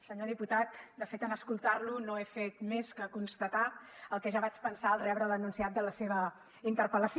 senyor diputat de fet en escoltar lo no he fet més que constatar el que ja vaig pensar al rebre l’enunciat de la seva interpel·lació